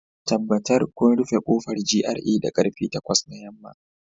Tabbatar kun rufe kofar GRA da karfe takwas na yamma